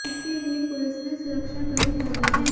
इसके लिए पुलिस ने सुरक्षा कड़ी कर दी है